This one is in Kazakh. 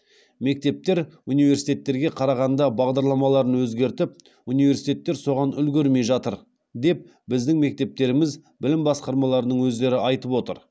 мектептер университеттерге қарағанда бағдарламаларын өзгертіп университеттер соған үлгермей жатыр деп біздің мектептеріміз білім басқармаларының өздері айтып отыр